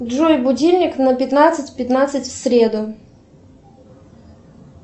джой будильник на пятнадцать пятнадцать в среду